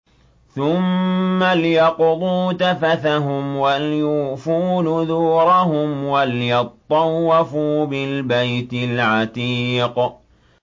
ثُمَّ لْيَقْضُوا تَفَثَهُمْ وَلْيُوفُوا نُذُورَهُمْ وَلْيَطَّوَّفُوا بِالْبَيْتِ الْعَتِيقِ